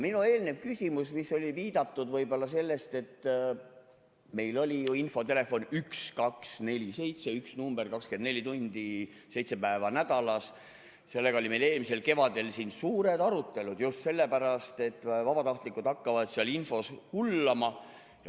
Minu eelnev küsimus, mis oli ajendatud võib-olla sellest, et meil oli infotelefon 1247 – üks number 24 tundi ja seitse päeva nädalas – ja selle üle olid meil eelmisel kevadel siin suured arutelud, sest et vabatahtlikud hakkavad seal infos hullama.